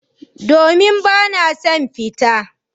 Domin bana son fita.